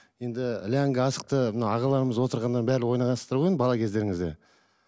енді ләңгі асықты мына ағаларымыз отырғаннан барлығы ойнағансыздар ғой енді бала кездеріңізде